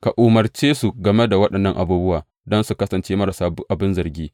Ka umarce su game da waɗannan abubuwa, don su kasance marasa abin zargi.